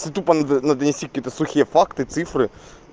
это тупа надо надо нести какие-то сухие факты цифры